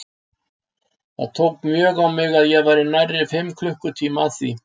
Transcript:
Það tók mjög á mig og ég var nærri fimm klukkutíma að því.